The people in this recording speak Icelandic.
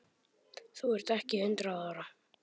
Þú ert ekki hundrað ára!